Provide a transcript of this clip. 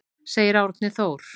Segir Árni Þór.